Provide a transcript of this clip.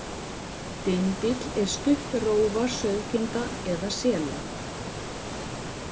Dindill er stutt rófa sauðkinda eða sela.